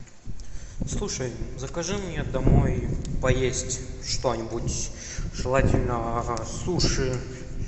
слушай закажи мне домой поесть что нибудь желательно суши